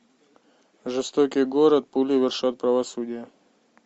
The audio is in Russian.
жестокий город пули вершат правосудие